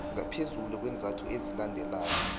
ngaphezulu kweenzathu ezilandelako